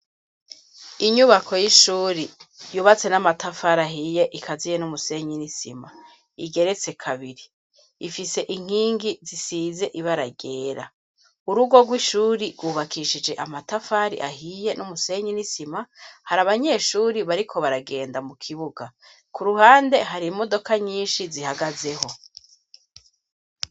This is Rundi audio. Inyubako y'ishuri yubatse n'amatafari ahiye ikaziye n'umusenyi n'isima igeretse kabiri ifise inkingi zisize ibara ryera urugo rw'ishuri rwubakishije amatafari ahiye n'umusenyi n'isima hari abanyeshuri bariko baragenda mu kibuga ku ruhande hari imodoka nyinshi zihagazeho.